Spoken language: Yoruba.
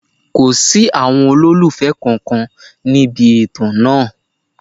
Kò sí àwọn olólùfẹ́ kankan níbi ètò náà.